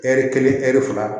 Ɛri kelen ɛri fila